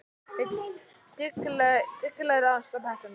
Með dyggilegri aðstoð, bætti hún við.